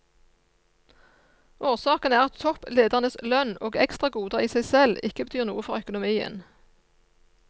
Årsaken er at toppledernes lønn og ekstragoder i seg selv ikke betyr noe for økonomien.